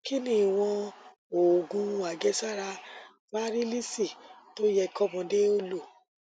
kí ni ìwọn òògun àjẹsára fárílíìsì tó yẹ kọmọdé ó lò